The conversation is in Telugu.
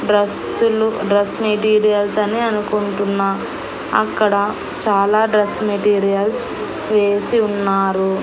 డ్రెస్సులు డ్రెస్ మెటీరియల్స్ అని అనుకుంటున్నా అక్కడ చాలా డ్రెస్ మెటీరియల్స్ వేసి ఉన్నారు.